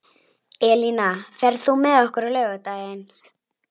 Elína, ferð þú með okkur á laugardaginn?